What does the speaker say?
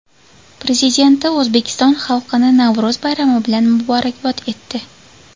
Prezidenti O‘zbekiston xalqini Navro‘z bayrami bilan muborakbod etdi.